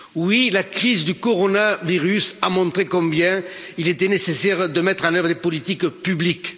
Oui, la crise du coronavirus a montré combien il était nécessaire de mettre en œuvre des politiques publiques.